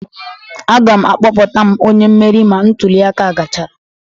Aga'm akpọpụta m onye mmeri ma ntuli aka a gachara